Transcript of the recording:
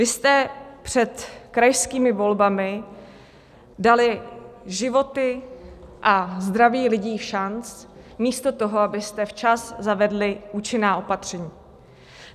Vy jste před krajskými volbami dali životy a zdraví lidí všanc místo toho, abyste včas zavedli účinná opatření.